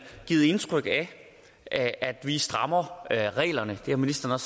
har givet indtryk af at vi strammer reglerne det har ministeren